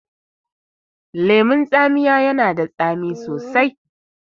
Lemun tsamiya yana da tsami sosai